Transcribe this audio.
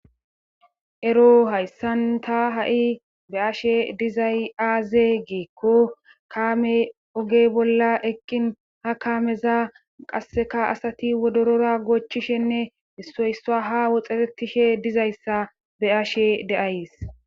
Ero hayssan ta ha7i be7ashe dizay aaze giikko kaame ogey bolla eqqin ha kaameza qasseka asati wodorora goochchishenne issoysa haa woxerettishe dizayssa be7ashe de7ays.